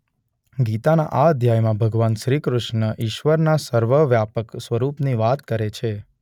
ગીતાના આ અધ્યાયમાં ભગવાન કૃષ્ણ ઇશ્વરના સર્વવ્યાપક સ્વરૂપની વાત કરે છે.